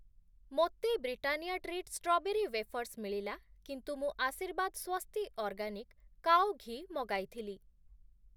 ମୋତେ Britannia treat strawberry wafers ମିଳିଲା କିନ୍ତୁ ମୁଁ ଆଶୀର୍ବାଦ୍ ସ୍ଵସ୍ତି ଅର୍ଗାନିକ୍ କାଓ ଘୀ ମଗାଇଥିଲି ।